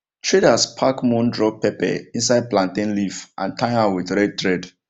traders pack moon drop pepper inside plantain leaf and tie am with red thread